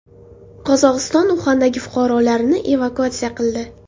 Qozog‘iston Uxandagi fuqarolarini evakuatsiya qildi.